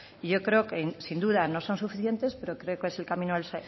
y yo creo que sin duda no son suficientes pero creo que es el camino a